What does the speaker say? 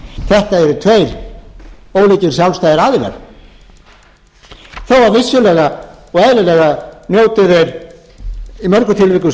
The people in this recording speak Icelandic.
þetta eru tveir ólíkir sjálfstæðir aðilar þó vissulega og eðlilega njóti þeir í mörgum tilvikum